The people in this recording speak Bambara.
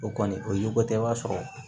O kɔni o ye ko tɛ i b'a sɔrɔ